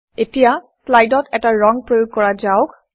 এতিয়া শ্লাইডত এটা ৰং প্ৰয়োগ কৰা যাওক